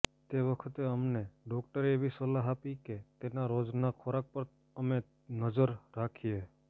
તે વખતે અમને ડોક્ટરે એવી સલાહ આપી કે તેના રોજના ખોરાક પર અમે નજર રાખીએ